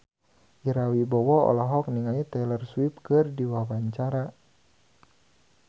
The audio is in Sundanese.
Ira Wibowo olohok ningali Taylor Swift keur diwawancara